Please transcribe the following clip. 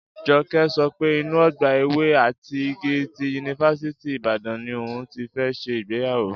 Jọkẹ́ sọ pé inú ọgbà ewé àti igi ti Yunifásítì Ìbàdàn ni òun ti fẹ́ ṣe ìgbéyàwó